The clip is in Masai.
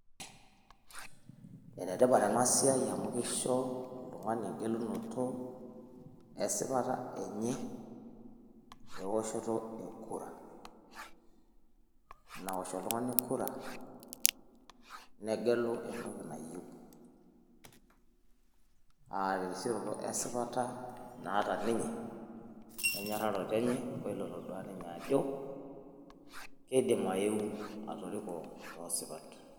Enetipat ena siiai amu keisho oltung'ani engelunoto esipata enye ewoshoto e kura nawosh oltung'ani kura negelu oltung'ani entoki nayieu enkisioroto esipata naata ninye enyororato enye onatoduaa ninye ajo keidim ayeu atoriko too sipat.